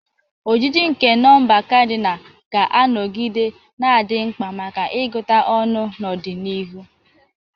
Ojiji nke nọmba kadinal ga-anọgide na-adị mkpa maka ịgụta ọnụ n'ọdịnihu.